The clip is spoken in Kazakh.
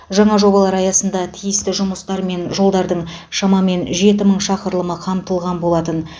жаңа жобалар аясында тиісті жұмыстармен жолдардың шамамен жеті мың шақырымы қамтылған болатың